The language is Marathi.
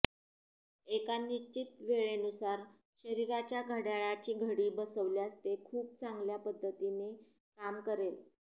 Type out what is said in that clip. एका निश्चित वेळेनुसार शरीराच्या घड्याळाची घडी बसवल्यास ते खूप चांगल्या पद्धतीने काम करेल